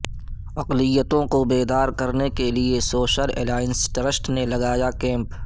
اقلیتوں کو بیدار کرنے کیلئے سوشل الائنس ٹرسٹ نے لگایا کیمپ